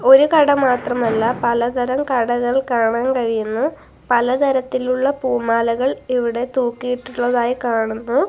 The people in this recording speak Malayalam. ഒരു കട മാത്രമല്ല പലതരം കടകൾ കാണാൻ കഴിയുന്നു പലതരത്തിലുള്ള പൂമാലകൾ ഇവിടെ തൂക്കി ഇട്ടിട്ടുള്ളതായി കാണുന്നു.